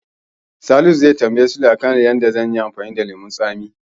Salisu zai tambayi Sule a kan yadda zanyi amfani da lemon tsami.